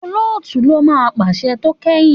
Òlótú lọ má pàṣẹ tó kẹyìn.